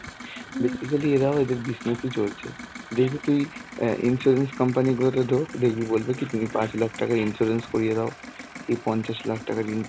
basically এরাও এদের business এ চলছে. দেখবি তুই অ্যাঁ insurance কোম্পানি গুলোতে ঢোক দেখবি বলবে কি তুমি পাঁচ লাখ টাকার insurance করিয়ে দাও, এই পঞ্চাশ লাখ টাকার insure~